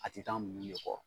A tɛ taa muɲu de kɔ.